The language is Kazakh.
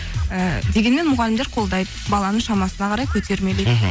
ы дегенмен мұғалімдер қолдайды баланың шамасына қарай көтермелейді мхм